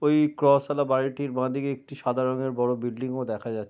ওই ক্রশ আলা বাড়িটির বাঁদিকে একটি সাদা রং এর বড়ো বিল্ডিং ও দেখা যা--